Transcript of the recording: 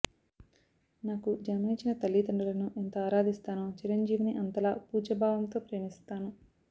నాకు జన్మనిచ్చిన తల్లిదండ్రులను ఎంత ఆరాధిస్తానో చిరంజీవిని అంతలా పూజ్యభావంతో ప్రేమిస్తాను